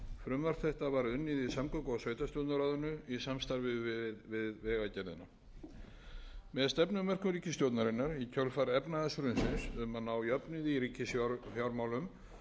frumvarp þetta var unnið í samgöngu og sveitarstjórnarráðuneytinu í samstarfi við vegagerðina með stefnumörkun ríkisstjórnarinnar í kjölfar efnahagshrunsins um að ná jöfnuði í ríkisfjármálum